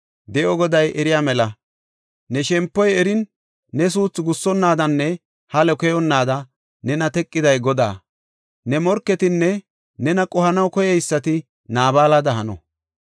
De7o Goday eriya mela, ne shempoy erin, ne suuthu gussonnaadanne halo keyonnaada nena teqiday Godaa. Ne morketinne nena qohanaw koyeysati Naabalada hano.